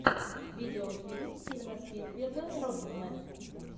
видеофильм стивена спилберга рокетмен